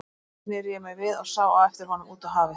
Þá sneri ég mér við og sá á eftir honum út á hafið.